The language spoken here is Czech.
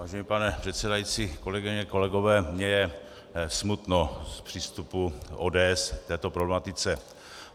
Vážený pane předsedající, kolegyně, kolegové, mně je smutno z přístupu ODS k této problematice.